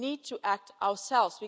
We need to act ourselves